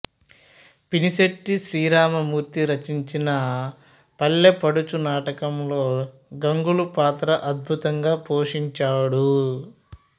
పినిశెట్టి శ్రీరామమూర్తి రచించిన పల్లెపడుచు నాటకంలో గంగులు పాత్ర అద్భుతంగా పోషించాడు